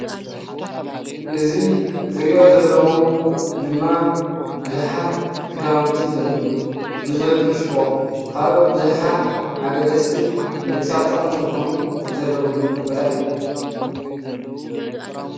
እዚ ዝሪኦ ዘለኩ ድማ ቡዙሓት ክዳውንቲ ዘለሉ፤ ቡዙሕ ፍሽኮ፣ ካልኦት ቡዙሓት አገደስትን ንደቂ ሰባት ጠቐምቲን ዝኾኑ ዘለውሉ ቦታ እዩ፡፡